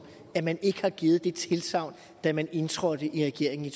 man ikke har givet det tilsagn da man indtrådte i regeringen i